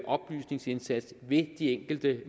oplysningsindsats ved de enkelte